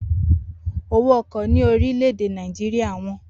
Owó ọkọ̀ ní orílè èdè Nàìjíríà wọ́n